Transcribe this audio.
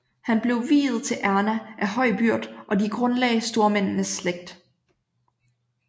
Han blev viet til Erna af høj byrd og de grundlagde stormændenes slægt